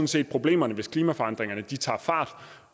set problemerne hvis klimaforandringerne tager fart